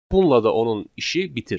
Bununla da onun işi bitir.